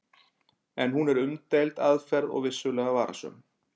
En hún er umdeild aðferð og vissulega varasöm.